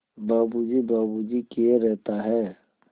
बाबू जी बाबू जी किए रहता है